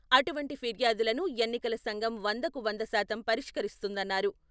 అటువంటి ఫిర్యాదులను ఎన్నికల సంఘం వందకు వంద శాతం పరిష్కరిస్తుందన్నారు.